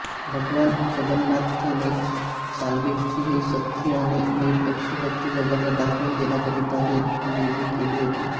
भगवान जगन्नाथानेच सालबेगची ही सच्ची आणि निरपेक्ष भक्ति जगाला दाखवून देण्याकरिता ही लीला केली होती